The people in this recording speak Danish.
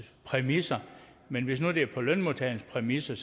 præmisser men hvis nu det sker på lønmodtagernes præmisser